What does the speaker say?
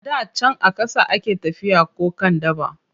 A da can a ƙasa a ke tafiya ko kan dabba.